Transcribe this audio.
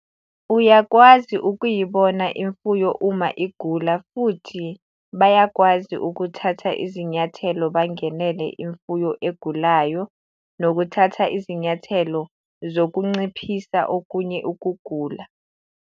Uyakwazi ukuyibona imfuyo uma igula futhi bayawakwazi ukuthatha izinyathelo bangenele imfuyo egulayo nokuthatha izinyathelo zokunciphisa okunye ukugula.